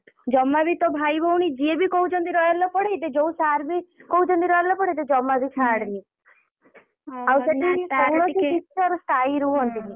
ଜମା ବି ତୋ ଭାଇ ଭଉଣୀ ଜିଏ ବି କହୁଛନ୍ତି royal ରେ ପଢେଇବେ ଯୋଉ sir ବି କହୁଛନ୍ତି royal ରେ ପଢ଼େଇତେ ଜମା ବି ଛାଡେନି। ଆଉ ସେଠି କୌଣସି ବି teacher ସ୍ଥାୟୀ ରୁହନ୍ତିନି।